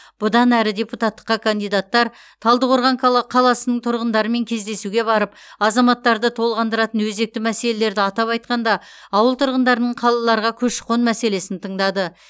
бұдан әрі депутаттыққа кандидаттар талдықорған кала қаласының тұрғындарымен кездесуге барып азаматтарды толғандыратын өзекті мәселелерді атап айтқанда ауыл тұрғындарының қалаларға көші қон мәселесін тыңдады